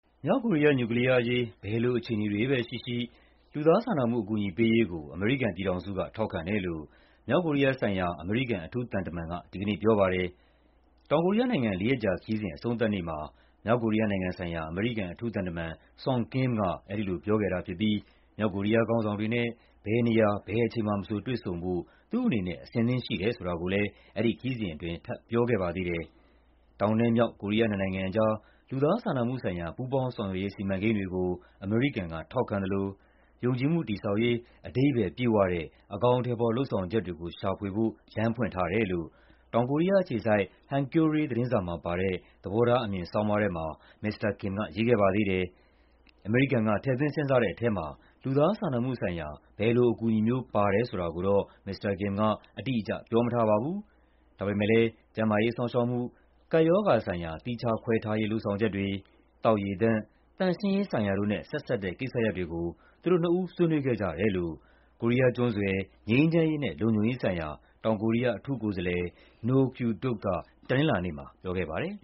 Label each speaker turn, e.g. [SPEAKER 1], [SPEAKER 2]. [SPEAKER 1] မြောက်ကိုရီးယား နျူကလီးယားအရေး ဘယ်လိုအခြေအနေတွေပဲရှိရှိ လူသားစာနာမှု အကူအညီပေးရေးကို အမေရိကန်က ထောက်ခံတယ်လို့ မြောက်ကိုရီးယားဆိုင်ရာ အမေရိကန် အထူးသံတမန်က ဒီကနေ့ပြောပါတယ်။ တောင်ကိုရီးယားနိုင်ငံ လေးရက်ကြာခရီးစဉ် အဆုံးသတ်နေ့မှာ အထူးသံတမန် Sung Kim က အဲဒီလိုပြောခဲ့တာဖြစ်ပြီး မြောက်ကိုရီးယားခေါင်းဆောင်တွေနဲ့ ဘယ်နေရာ ဘယ်အချိန်မှာမဆို တွေ့ဆုံဖို့ သူ့အနေနဲ့ အဆင်သင့်ရှိတယ်ဆိုတာကိုလည်း ဒီခရီးစဉ်အတွင်း ထပ်ပြောခဲ့ပါသေးတယ်။ တောင် မြောက် ကိုရီးယားနှစ်နိုင်ငံကြား လူသားစာနာမှုဆိုင်ရာ ပူးပေါင်းဆောင်ရွက်ရေး စီမံကိန်းတွေကို အမေရိကန်က ထောက်ခံသလို ယုံကြည်မှုတည်ဆောက်ရေး အဓိပ္ပါယ်ပြည့်ဝတဲ့ အကောင်အထည်ဖော် လုပ်ဆောင်ချက်တွေကို ရှာဖွေဖို့ လမ်းဖွင့်ထားတယ်လို့ တောင်ကိုရီးယားအခြေစိုက် Hankyoreh သတင်းစာမှာပါတဲ့ သဘောထားအမြင်ဆောင်းပါးထဲမှာ မစ္စတာ Kim က ရေးခဲ့ပါသေးတယ်။ အမေရိကန်က ထည့်သွင်းစဉ်းစားတဲ့ထဲမှာ လူသားစာနာမှုဆိုင်ရာ ဘယ်လိုအကူအညီမျိုး ပါတယ်ဆိုတာကိုတော့ မစ္စတာ Kim အတိအကျ ပြောမထားပါဘူး။ ဒါပေမယ့် ကျန်းမာရေးစောင့်ရှောက်မှု၊ ကပ်ရောဂါဆိုင်ရာ သီးခြားခွဲထားရေး လုပ်ဆောင်ချက်တွေ၊ သောက်ရေသန့်၊ သန့်ရှင်းရေးဆိုင်ရာတို့နဲ့ ဆက်စပ်တဲ့ကိစ္စရပ်တွေကို သူတို့နှစ်ဦး ဆွေးနွေးခဲ့ကြတယ်လို့ ကိုရီးယားကျွန်းဆွယ် ငြိမ်းချမ်းရေးနဲ့ လုံခြုံရေးဆိုင်ရာ တောင်ကိုရီးယားအထူးကိုယ်စားလှယ် Noh Kyu-duk
[SPEAKER 2] က တနင်္လာနေ့မှာ ပြောခဲ့ပါတယ်